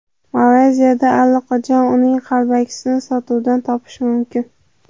Malayziyada allaqachon uning qalbakisini sotuvdan topish mumkin.